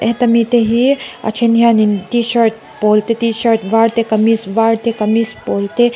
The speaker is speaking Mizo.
heta mi te hi a then hian in t shirt pawl te t shirt var te kamis var te kamis pawl te--